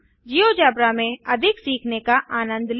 GeoGebra में अधिक सीखने का आनंद लें